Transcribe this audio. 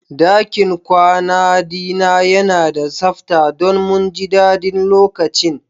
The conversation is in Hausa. Dakin kwana dina yana da sabta don mu ji daɗin lokacin.